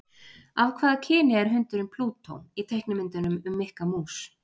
Af hvaða kyni er hundurinn Plútó í teiknimyndunum um Mikka Mús?